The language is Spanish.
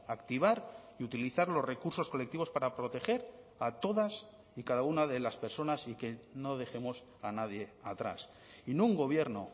activar y utilizar los recursos colectivos para proteger a todas y cada una de las personas y que no dejemos a nadie atrás y no un gobierno